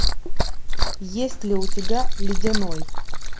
есть ли у тебя ледяной